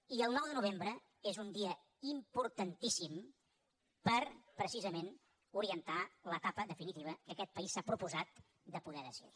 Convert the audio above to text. i el nou de novembre és un dia importantíssim per precisament orientar l’etapa definitiva que aquest país s’ha proposat de poder decidir